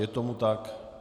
Je tomu tak.